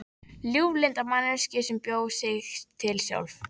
Ljúflynda manneskju sem bjó sig til sjálf.